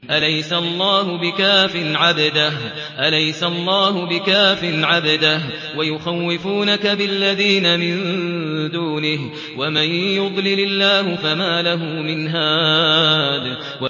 أَلَيْسَ اللَّهُ بِكَافٍ عَبْدَهُ ۖ وَيُخَوِّفُونَكَ بِالَّذِينَ مِن دُونِهِ ۚ وَمَن يُضْلِلِ اللَّهُ فَمَا لَهُ مِنْ هَادٍ